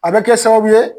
A bɛ kɛ sababu ye